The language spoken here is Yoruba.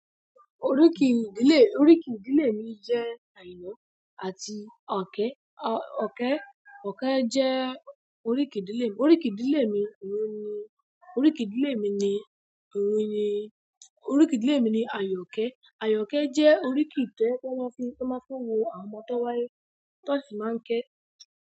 Oríkì ìdílé, oríkì ìdílé mi jẹ́ Àyìnà àti òkè, òkè, òkè jẹ́ oríkì ìdílé mi. Oríkì ìdílé mi òun ni, oríkì ìdílé mi ni òun ni, oríkì ìdílé mi ni Àyòkè. Àyòkè jẹ́ oríkì to jẹ́ pe won máa ń fi, ti wón máa ń fún iru àwọn ọmọ tó wáyé ti won sì máa ń ké.